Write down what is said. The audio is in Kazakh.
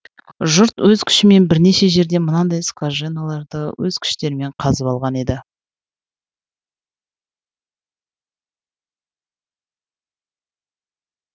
жұрт өз күшімен бірнеше жерден мынадай скважиналарды өз күштерімен қазып алған еді